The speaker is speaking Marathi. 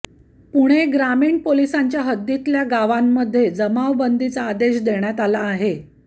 पुणे ग्रामीण पोलिसांच्या हद्दीतल्या गावांमध्ये जमावबंदीचा आदेश देण्यात आला आहे